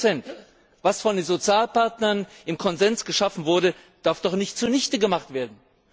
40 Was von den Sozialpartnern im Konsens geschaffen wurde, darf doch nicht zunichte gemacht werden.